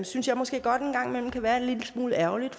synes jeg måske godt en gang imellem kan være en lille smule ærgerligt